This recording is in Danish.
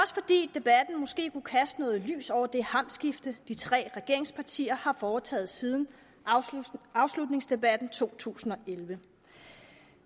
debatten måske kunne kaste noget lys over det hamskifte de tre regeringspartier har foretaget siden afslutningsdebatten i to tusind og elleve